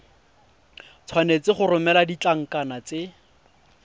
tshwanetse go romela ditlankana tse